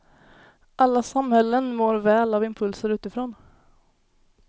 Alla samhällen mår väl av impulser utifrån.